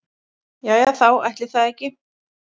Jæja þá, ætli það ekki.